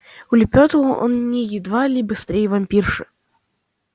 улепётывал он едва ли не быстрее вампирши